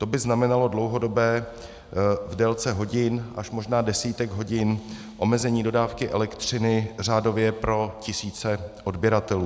To by znamenalo dlouhodobé, v délce hodin, až možná desítek hodin, omezení dodávky elektřiny řádově pro tisíce odběratelů.